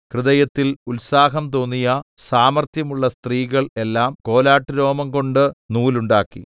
ഹൃദയത്തിൽ ഉത്സാഹം തോന്നിയ സാമർത്ഥ്യമുള്ള സ്ത്രീകൾ എല്ലാം കോലാട്ടുരോമം കൊണ്ട് നൂലുണ്ടാക്കി